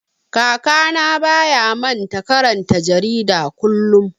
Kakana baya manta karanta jarida kullum.